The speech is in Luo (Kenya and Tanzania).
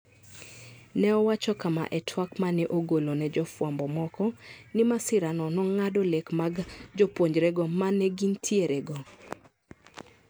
Ne owacho kama e twak ma ne ogolo ne jofwambo moko: ni masirano nongado lek mag jopunjrego manegintierego